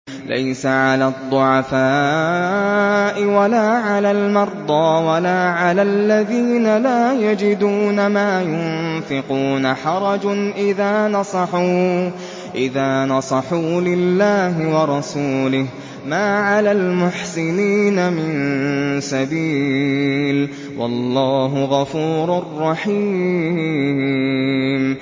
لَّيْسَ عَلَى الضُّعَفَاءِ وَلَا عَلَى الْمَرْضَىٰ وَلَا عَلَى الَّذِينَ لَا يَجِدُونَ مَا يُنفِقُونَ حَرَجٌ إِذَا نَصَحُوا لِلَّهِ وَرَسُولِهِ ۚ مَا عَلَى الْمُحْسِنِينَ مِن سَبِيلٍ ۚ وَاللَّهُ غَفُورٌ رَّحِيمٌ